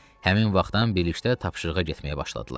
Həmin vaxtdan birlikdə tapşırığa getməyə başladılar.